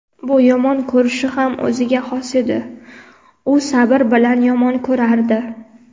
bu yomon ko‘rishi ham o‘ziga xos edi: u "sabr bilan yomon ko‘rardi".